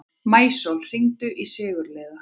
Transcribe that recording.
Maísól, hringdu í Sigurliða.